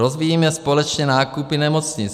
Rozvíjíme společně nákupy nemocnic.